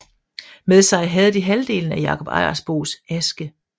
Med sig havde de halvdelen af Jakob Ejersbos aske